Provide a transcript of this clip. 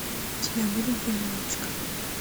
у тебя будет дюймовочка